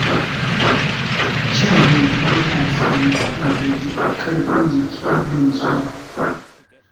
Shan hantsi yana sa mutum jin ƙarfin jiki da nutsuwa.